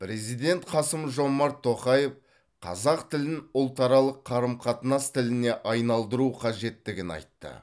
президент қасым жомарт тоқаев қазақ тілін ұлтаралық қарым қатынас тіліне айналдыру қажеттігін айтты